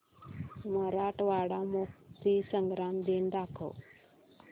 मराठवाडा मुक्तीसंग्राम दिन दाखव